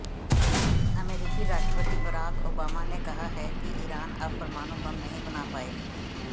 अमेरिकी राष्ट्रपति Barack Obama ने कहा है कि ईरान अब परमाणु बम नहीं बना पाएगा